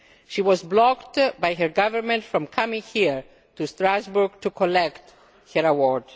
She was blocked by her government from coming here to Strasbourg to collect her